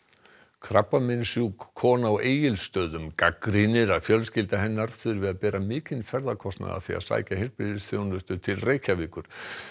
krabbameinssjúk kona á Egilsstöðum gagnrýnir að fjölskylda hennar þurfi að bera mikinn ferðakostnað af því að sækja heilbrigðisþjónustu til Reykjavíkur